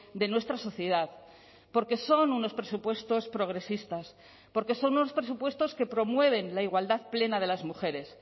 de nuestra sociedad porque son unos presupuestos progresistas porque son unos presupuestos que promueven la igualdad plena de las mujeres